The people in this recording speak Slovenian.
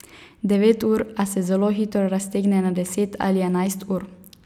Devet ur, a se zelo hitro raztegne na deset ali enajst ur.